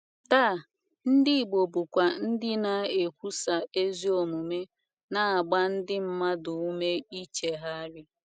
Taa, ndị igbo bụkwa ndị na - ekwusa ezi omume, na - agba ndị mmadụ ume ichegharị.